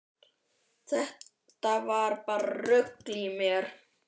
Þetta var bara rugl í mér.